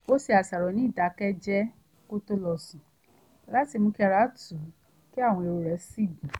ó ṣàṣàrò ní ìdákẹ́jẹ́ẹ́ kó tó lọ sùn láti mú kí ara tù ú kí àwọn èrò rẹ̀ sì gún